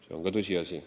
See on ka tõsiasi.